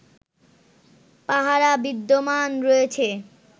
পাহারা বিদ্যমান রয়েছে